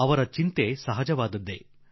ಅವರ ಚಿಂತೆ ಬಲು ಸ್ವಾಭಾವಿಕ